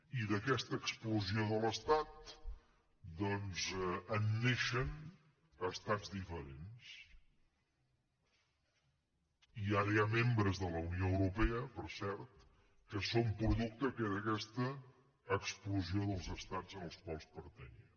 i d’aquesta explosió de l’estat doncs en neixen estats diferents i ara hi ha membres de la unió europea per cert que són producte d’aquesta explosió dels estats en els quals pertanyien